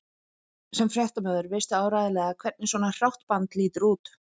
Sem fréttamaður veistu áreiðanlega hvernig svona hrátt band lítur út